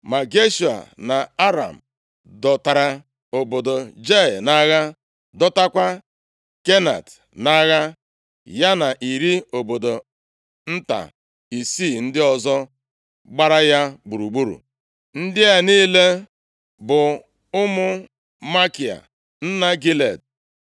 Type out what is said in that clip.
Ma Geshua na Aram dọtara obodo Jaịa nʼagha, dọtakwa Kenat nʼagha, ya na iri obodo nta isii ndị ọzọ gbara ya gburugburu. Ndị a niile bụ ụmụ Makia nna Gilead.